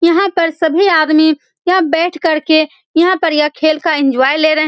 यहाँ पर सभी आदमी यहाँ बैठ कर के यहाँ पर यह खेल का एन्जॉय ले रहे हैं ।